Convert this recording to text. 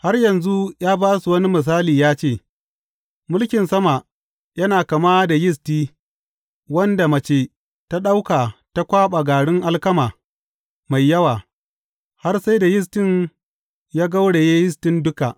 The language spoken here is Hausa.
Har yanzu ya ba su wani misali ya ce, Mulkin sama yana kama da yisti wanda mace ta ɗauka ta kwaɓa garin alkama mai yawa, har sai da yistin ya gauraye yistin duka.